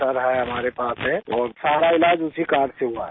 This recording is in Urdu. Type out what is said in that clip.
تو انہوں نے میرا وہ کارڈ لیا اور میرا سارا علاج اسی کارڈ سے ہوا ہے